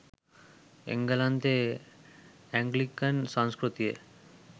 එංගලන්තෙ Anglican සංස්කෘතිය